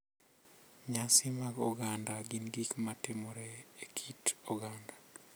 Nyasi mag oganda gin gik ma timore e kit oganda,